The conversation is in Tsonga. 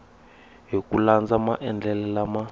hi ku landza maendlele lama